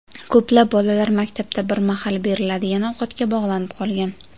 Ko‘plab bolalar maktabda bir mahal beriladigan ovqatga bog‘lanib qolgan.